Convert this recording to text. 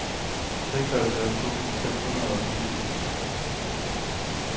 seksoghalvfjerds tusind seks hundrede og fireogfirs